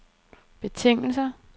betingelser